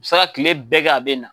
Sɛ ka kile bɛɛ kɛ a be na